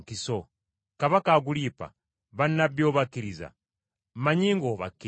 Kabaka Agulipa, bannabbi obakkiriza? Mmanyi ng’obakkiriza.”